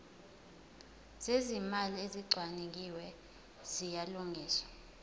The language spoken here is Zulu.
zezimali ezicwaningiwe ziyalungiswa